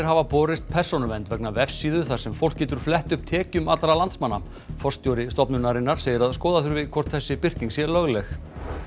hafa borist Persónuvernd vegna vefsíðu þar sem fólk getur flett upp tekjum allra landsmanna forstjóri stofnunarinnar segir að skoða þurfi hvort þessi birting sé lögleg